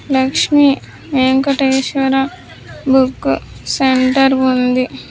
Lakshmi Venkateswara book centre ఉంది.